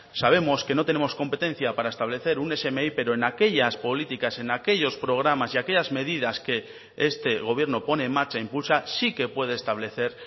sabemos que no tenemos competencia para establecer un smi pero en aquellas políticas en aquellos programas y aquellas medidas que este gobierno pone en marcha impulsa sí que puede establecer